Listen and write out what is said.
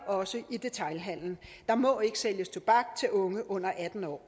også i detailhandelen der må ikke sælges tobak til unge under atten år